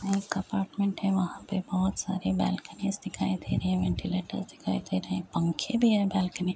एक अपार्टमेंट है। वहाँ पे बहोत सारी बैल्कनीज़ दिखाई दे रही हैं। वेंटीलेटर्स दिखाई दे रहे हैं। पंखे भी है बालकनी --